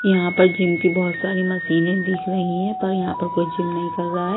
यहां पर जिम की बहुत सारी मशीनें दिख रही हैं पर यहां पर कोई जिम नहीं कर रहा है।